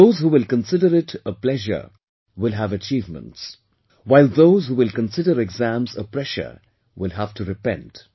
Those who will consider it a pleasure, will have achievements, while those who will consider exams a pressure, will have to repent